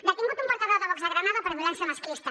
detingut un portaveu de vox a granada per violència masclista